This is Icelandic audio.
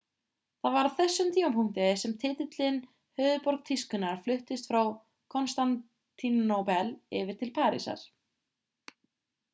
það var á þessum tímapunkti sem titilinn höfuðborg tískunnar fluttist frá konstantínópel yfir til parísar